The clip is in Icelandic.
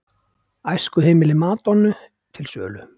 Æskuheimili Madonnu til sölu